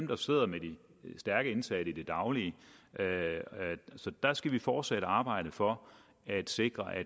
der sidder med de stærke indsatte i det daglige så der skal vi fortsætte arbejdet for at sikre at